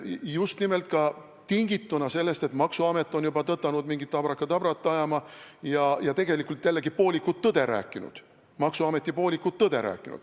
Just nimelt tingituna ka sellest, et maksuamet on juba tõtanud mingit abrakadabrat ajama ja tegelikult jällegi rääkinud maksuameti poolikut tõde.